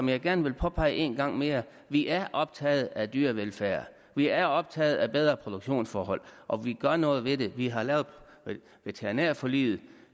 vil gerne påpege en gang mere at vi er optaget af dyrevelfærd vi er optaget af bedre produktionsforhold og vi gør noget ved det vi har lavet veterinærforliget